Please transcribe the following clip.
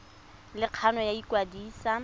le kgano ya go ikwadisa